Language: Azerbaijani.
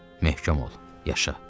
Möhkəm ol, yaşa.